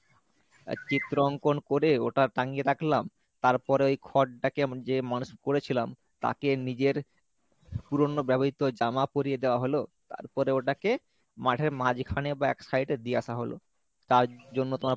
আহ চিত্রঙ্কন করে ওটা টানিয়ে রাখলাম তারপরে ওই খরটাকে এমন যে মানুষ করেছিলাম তাকে নিজের পুরোনো ব্যবহৃত জামা পরিয়ে দেওয়া হলো তারপরে ওটাকে মাঠের মাঝখানে বা এক side এ দিয়ে আসা হলো তার জন্য তোমার